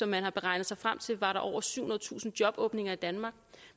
man har regnet sig frem til at var over syvhundredetusind jobåbninger i danmark